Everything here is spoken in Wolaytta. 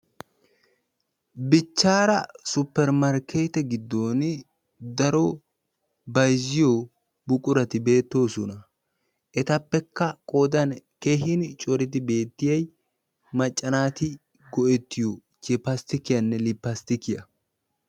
bichaara supermarkeete giidon daro bayzziyobati beetoosona, etappekka qoodan keehin coridi beettiyay macca naati go'ettiyo chipastikkiya lipastikkiya.